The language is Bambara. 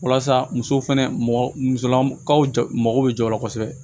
Walasa muso fɛnɛ mɔgɔ musolankaw jogo bɛ jɔ o la kosɛbɛ